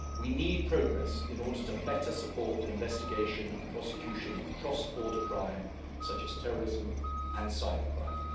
We need progress in order better to support the investigation and prosecution of cross border crime, including terrorism and cybercrime.